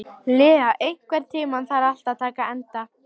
Lea, einhvern tímann þarf allt að taka enda.